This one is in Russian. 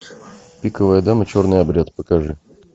пиковая дама черный обряд покажи